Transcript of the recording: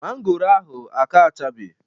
Mangoro ahụ aka achabe